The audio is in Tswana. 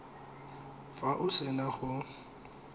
fa o se na go